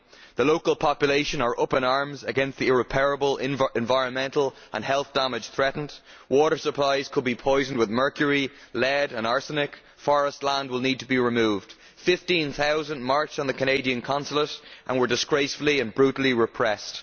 The local population are up in arms against the irreparable environmental and health damage this threatens water supplies could be poisoned with mercury, lead and arsenic, and forest land would need to be cleared. Fifteen thousand people marched on the Canadian Consulate and were disgracefully and brutally repressed.